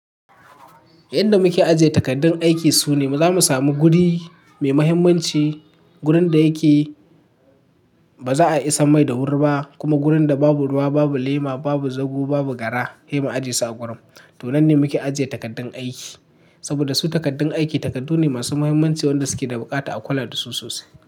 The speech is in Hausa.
Inda muke ajiye takardun aiki sune za mu samu guri mai mahimmanci. Gurin da yake ba za a isa mai da wuri ba, kuma gurin da babu ruwa, babu lema, babu zago, babu gara, sai mu ajiye su a gurin. To nan ne muke ajiye takardun aiki saboda su takardun aiki takardu ne masu mahimmanci wanda suke da bukata a kula da su sosai.